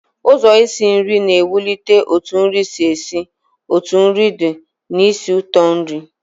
Ụzọ isi nri na ewulite otu nri si esi, otu nri di na ísì ụtọ nri